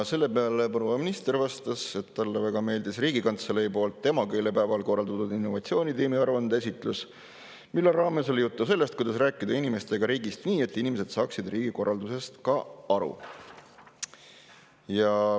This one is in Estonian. Selle peale proua minister vastas, et talle väga meeldis Riigikantselei korraldatud ja emakeelepäeval toiminud innovatsioonitiimi aruande esitlus, milles oli juttu sellest, kuidas rääkida inimestega riigist nii, et inimesed saaksid riigikorraldusest aru.